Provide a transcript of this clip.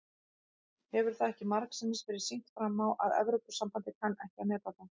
Hefur það ekki margsinnis verið sýnt fram á að Evrópusambandið kann ekki að meta það?